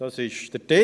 Das ist der Titel.